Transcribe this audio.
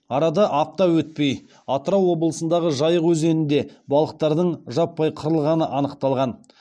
арада апта өтпей атырау облысындағы жайық өзенінде балықтардың жаппай қырылғаны анықталған